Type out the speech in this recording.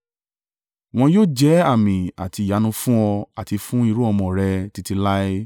Wọn yóò jẹ́ àmì àti ìyanu fún ọ àti fún irú-ọmọ rẹ títí láé.